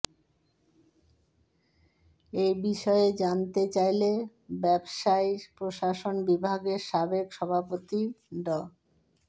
এ বিষয়ে জানতে চাইলে ব্যবসায় প্রশাসন বিভাগের সাবেক সভাপতি ড